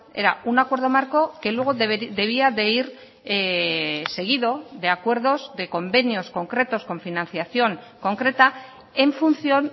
era un acuerdo marco que luego debía de ir seguido de acuerdos de convenios concretos con financiación concreta en función